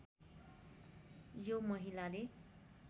यो महिलाले